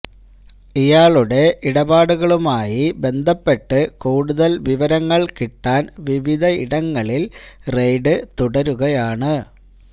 ഇയാളുടെ ഇടപാടുകളുമായി ബന്ധപ്പെട്ട് കൂടുതല് വിവരങ്ങള് കിട്ടാന് വിവിധയിടങ്ങളില് റെയ്ഡ് തുടരുകയാണ്